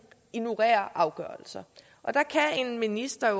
ignorerer afgørelser en minister